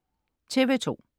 TV2: